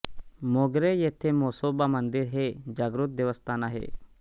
मोगरे येथे म्हसोबा मंदिर हे जागृत देवस्थान आहे